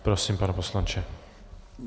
Prosím, pane poslanče.